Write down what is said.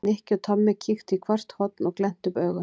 Nikki og Tommi kíktu í hvert horn og glenntu upp augun.